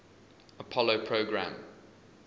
apollo program